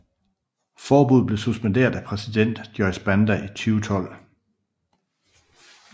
Forbuddet blev suspenderet af præsident Joyce Banda i 2012